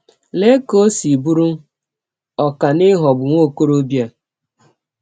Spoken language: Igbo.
Lee ka ọ si bụrụ ọkà n’ịghọgbụ nwa ọkọrọbịa!